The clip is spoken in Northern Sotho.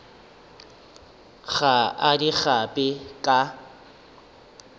ga a di gape ka